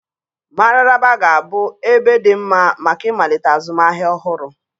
Mararaba ga-abụ ebe dị mma maka ịmalite azụmahịa ọhụrụ.